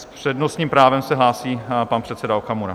S přednostním právem se hlásí pan předseda Okamura.